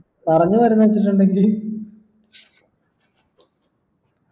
പറഞ്ഞു വരുന്നത് ഇണ്ടെങ്കി